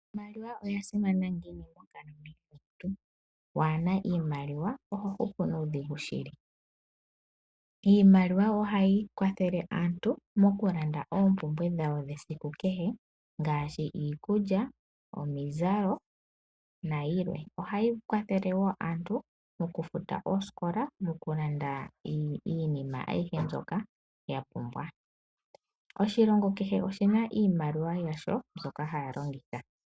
Iimaliwa oyasimana ngiini monkalamwenyo yomuntu, waana iimaliwa ohohupu nuudhigu shili. Iimaliwa ohayi kwathele aantu mokulanda oompumbwe dhawo dhesiku kehe ngaashi iikulya, omizalo nayilwe. Ohayi kwathele wo aantu mokufuta oosikola, mokulanda iinima ayihe mbyoka yapumbwa. Oshilongo kehe oshina iimaliwa yasho mbyoka haya longitha.